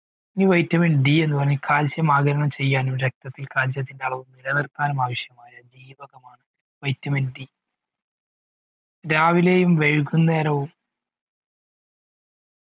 ഈ vitamin D എന്ന് പറയുന്നത് calcium ആഗീരണം ചെയ്യാനും രക്തത്തിൽ calcium അളവ് നിലനിർത്താനും ആവിശ്യമായ D ജീവകമാണ് vitaminD രാവിലെയും വൈകുന്നേരവും